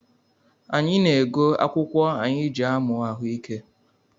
Anyị na-ego akwụkwụ anyị jị amụ ahụike